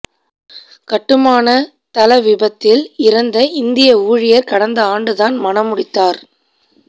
கட்டுமானத் தள விபத்தில் இறந்த இந்திய ஊழியர் கடந்த ஆண்டுதான் மணமுடித்தார்